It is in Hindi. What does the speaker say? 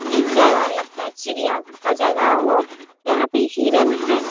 इस जगह लगता है चिड़ियाघर का जगह हो यहाँ पे हिरण है।